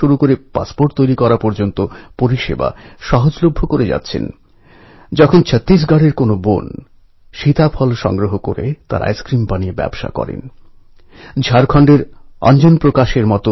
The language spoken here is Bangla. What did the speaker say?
এই সময় সর্দার বল্লভভাই প্যাটেলের সঙ্গে লোকমান্য তিলকজীর দীর্ঘক্ষণ কথা বলার সুযোগ হয়েছিল এবং সর্দার বল্লভভাই প্যাটেল লোকমান্য তিলকজীর দ্বারা অত্যন্ত প্রভাবিত হয়েছিলেন